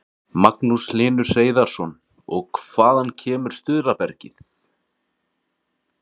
Magnús Hlynur Hreiðarsson: Og hvaða kemur stuðlabergið?